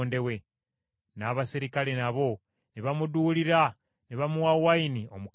N’abaserikale nabo ne bamuduulira ne bamuwa wayini omukaatuufu,